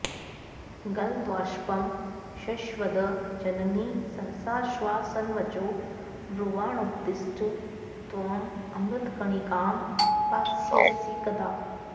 गलद्बाष्पं शश्वद् जननि सहसाश्वासनवचो ब्रुवाणोत्तिष्ठ त्वं अमृतकणिकां पास्यसि कदा